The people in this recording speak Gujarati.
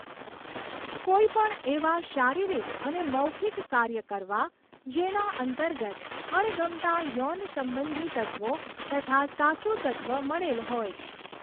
કોઈપણ એવા શારીરિક અને મૌખિક કાર્ય કરવા, જેના અંતર્ગત અણગમતા યૌન સંબંધી તત્ત્વો તથા સાચું તત્ત્વ મળેલ હોય.